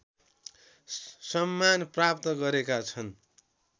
सम्मान प्राप्त गरेका छन्